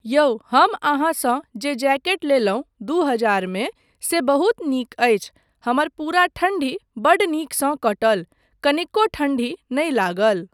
यौ, हम अहाँसँ जे जैकेट लेलहुँ दू हजारमे से बहुत नीक अछि, हमर पूरा ठण्डी बड्ड नीकसँ कटल, कनिको ठण्डी नहि लागल।